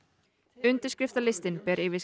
undirskriftalistinn